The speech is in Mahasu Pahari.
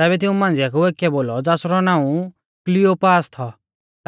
तैबै तिऊं मांझ़िया कु एकीऐ बोलौ ज़ासरौ नाऊं क्लियोपास थौ